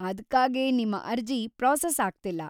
ಅದ್ಕಾಗೇ ನಿಮ್ಮ ಅರ್ಜಿ ಪ್ರಾಸೆಸ್‌ ಆಗ್ತಿಲ್ಲ.